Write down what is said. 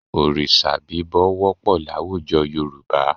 Òrìṣà bíbọ wọ́pọ̀ láwùjọ Yorùbá